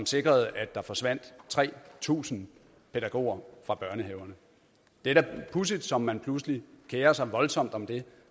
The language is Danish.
sikrede at der forsvandt tre tusind pædagoger fra børnehaverne det er da pudsigt som man pludselig kerer sig voldsomt om det